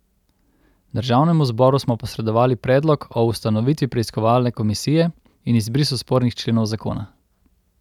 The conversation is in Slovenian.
Državnemu zboru smo posredovali predlog o ustanovitvi preiskovalne komisije in izbrisu spornih členov zakona.